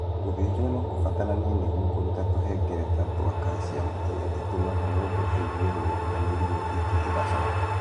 Gũthĩnjwo no kũbataranie nĩguo kũruta tũhengereta twa calcium ĩrĩa ĩtũmaga mũndũ igue ruo na mĩrimũ ĩngĩ ĩgacoka